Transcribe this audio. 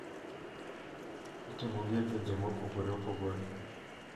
Itimogi e pinje mopogore opogore.